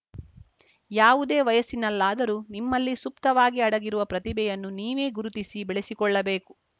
ಯಾವುದೇ ವಯಸ್ಸಿನಲ್ಲಾದರೂ ನಿಮ್ಮಲ್ಲಿ ಸುಪ್ತವಾಗಿ ಅಡಗಿರುವ ಪ್ರತಿಭೆಯನ್ನು ನೀವೇ ಗುರುತಿಸಿ ಬೆಳೆಸಿಕೊಳ್ಳಬೇಕು